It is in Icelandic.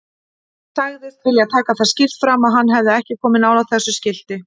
Sagðist vilja taka það skýrt fram að hann hefði ekki komið nálægt þessu skilti.